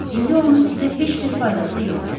İndi onun sizə heç bir faydası yoxdur.